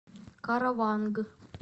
караванг